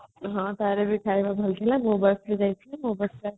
ହଁ ତାର ବି ଖାଇଆ ବହୁତ ଭଲ ଥିଲା ମୋ busରେ ଯାଇଥିଲି ମୋ busରେ ଆସିଲି |